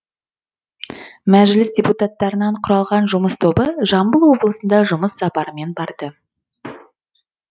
мәжіліс депутаттарынан құралған жұмыс тобы жамбыл облысында жұмыс сапарымен барды